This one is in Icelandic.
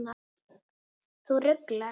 Þú ruglar.